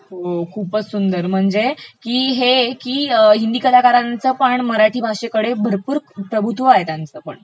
हम्म...खूपचं सुंदर, म्हणेज की हे की हिंदी कलाकारांचपण मराठी भाषेकडे भरपूर प्रभुत्व आहे त्यांचंपण